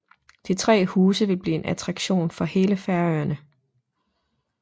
De tre huse vil blive en attraktion for hele Færøerne